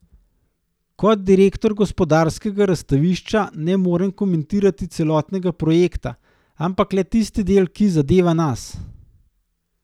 Kot direktor Gospodarskega razstavišča ne morem komentirati celotnega projekta, ampak le tisti del, ki zadeva nas.